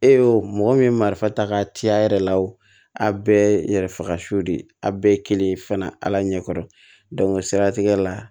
E y'o mɔgɔ min marifa ta ka ci a yɛrɛ la o a bɛɛ yɛrɛ faga so de ye a bɛɛ ye kelen fana ala ɲɛ kɔrɔ o siratigɛ la